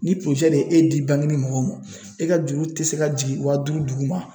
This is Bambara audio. Ni de ye e di mɔgɔ ma e ka juru tɛ se ka jigin wa duuru duguma